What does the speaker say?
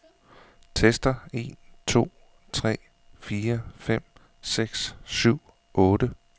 Tester en to tre fire fem seks syv otte.